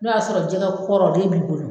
N'o y'a sɔrɔ jɛgɛ kɔrɔ o le b'i bolo